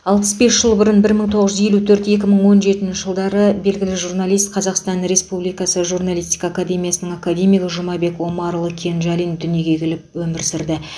алпыс бес жыл бұрын бір мың тоғыз жүз елу төрт он жетінші белгілі журналист қазасқтан республикасы журналистика академиясының академигі жұмабек омарұлы кенжалин дүниеге келіп өмір сүрді